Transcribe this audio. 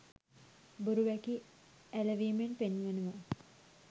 බොරු වැකි ඇලවීමෙන් පෙන්වනවා